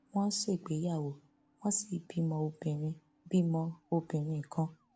wọn ṣègbéyàwó wọn sì bímọ obìnrin bímọ obìnrin kan